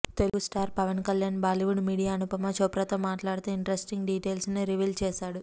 Telugu star Pawan Kalyan Bollywood media Anupama Chopra తో మాట్లాడుతూ interesting details ని రివీల్ చేసాడు